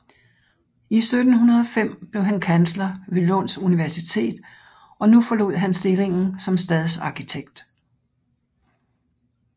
I 1705 blev han kansler ved Lunds Universitet og nu forlod han stillingen som stadsarkitekt